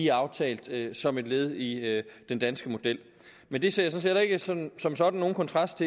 er aftalt som et led i den danske model men det ser set heller ikke som som sådan nogen kontrast